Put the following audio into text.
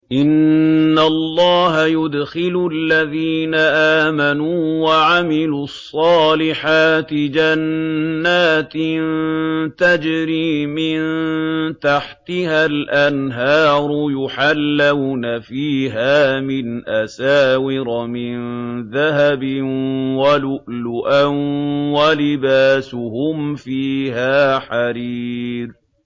إِنَّ اللَّهَ يُدْخِلُ الَّذِينَ آمَنُوا وَعَمِلُوا الصَّالِحَاتِ جَنَّاتٍ تَجْرِي مِن تَحْتِهَا الْأَنْهَارُ يُحَلَّوْنَ فِيهَا مِنْ أَسَاوِرَ مِن ذَهَبٍ وَلُؤْلُؤًا ۖ وَلِبَاسُهُمْ فِيهَا حَرِيرٌ